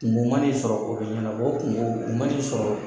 Kungo man'i sɔrɔ o bɛ ɲɛnabɔ. O kungo, o man'i sɔrɔ